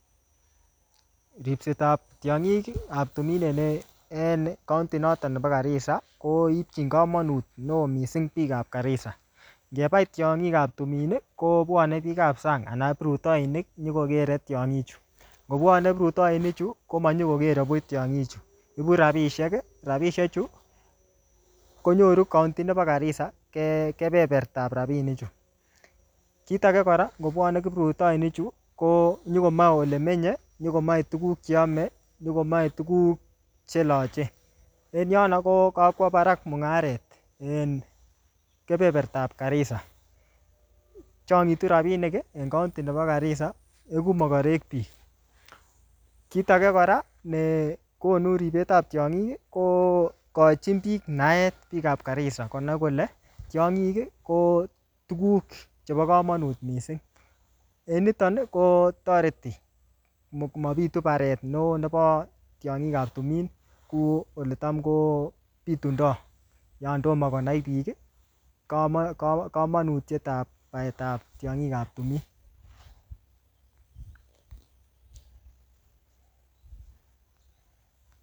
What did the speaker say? Ripsetab tiongik en kaondi nebo Garissa koipchin kamanut neo missing biikab Garissa. Ngebai tiongik ab tumin kobwane biikab sang ana kiprutoinik nyokokere tiongichu. Ngobwane kiprutoini chu komanyokokere buch tiongichu. Ibu rapisiek. Rapisiechu konyoru kaondi nebo Garissa kebebertab rapinichu. Kit age kora ngobwane kiprutoinichu konyokomae olemenye, nyokomae tuguk che ame, nyokomae tuguk che loche. En yono ko kakwo barak mungaret en kebebertab Garissa. Chongitu rapinik en kaondi nebo Garissa, igu mogorek biik. Kit age kora negonu ribetab tiongik ko kochin biik naet biikab Garissa konai kole tiongik ko tuguk chebo kamanut mising. En niton ko toreti mobitu baret neo nebo tiongikab tumin ku oletam kobitunda yon tomo konai biik kamanutiet ab baetab tiongikab tumin.